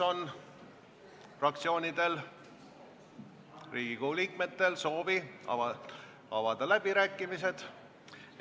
Kas fraktsioonidel või Riigikogu liikmetel on soovi pidada läbirääkimisi?